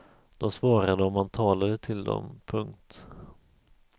De svarade om man talade till dem. punkt